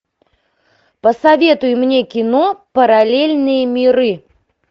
посоветуй мне кино параллельные миры